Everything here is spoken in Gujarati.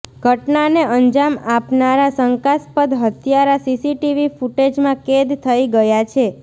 ઘટનાને અંજામ આપનારા શંકાસ્પદ હત્યારા સીસીટીવી ફૂટેજમાં કેદ થઈ ગયા છે